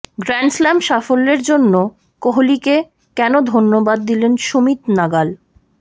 Grand Slam সাফল্যের জন্য কোহলিকে কেন ধন্যবাদ দিলেন সুমিত নাগাল